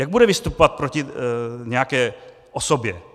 Jak bude vystupovat proti nějaké osobě?